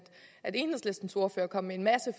enhedslistens ordfører kom med en masse